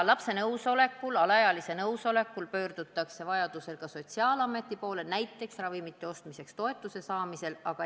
Lapse, alaealise nõusolekul pöördutakse vajaduse korral ka sotsiaalameti poole, näiteks ravimite ostmiseks toetuse saamiseks.